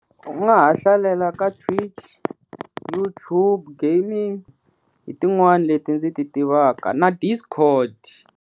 U nga ha hlalela ka Twitch, YouTube gaming hi tin'wani leti ndzi ti tivaka na discord.